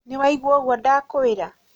nĩwaigũa ũguo ndakwĩra?